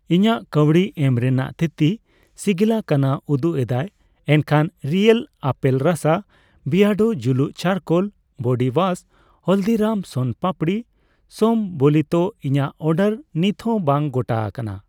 ᱤᱧᱟᱜ ᱠᱟᱹᱣᱰᱤ ᱮᱢ ᱨᱮᱱᱟᱜ ᱛᱷᱤᱛᱤ ᱥᱤᱜᱤᱞᱟᱠᱟᱱᱟ ᱩᱫᱩᱜ ᱮᱫᱟᱭ, ᱮᱱᱠᱷᱟᱱ ᱨᱤᱭᱮᱞ ᱟᱯᱮᱞ ᱨᱟᱥᱟ, ᱵᱤᱭᱟᱰᱳ ᱡᱩᱞᱩᱢ charcoal body wash Haldiram's soan papdi ᱥᱚᱢᱵᱚᱞᱤᱛᱚ ᱤᱧᱟᱜ ᱚᱰᱟᱨ ᱱᱤᱛᱦᱚ ᱵᱟᱝ ᱜᱚᱴᱟ ᱟᱠᱟᱱᱟ ᱾